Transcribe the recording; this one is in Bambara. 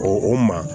O o maa